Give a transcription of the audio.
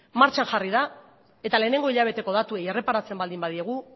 martxan jarri da eta lehenengo hilabeteko datuei erreparatzen baldin badiegu